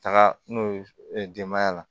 Taga n'o ye denbaya la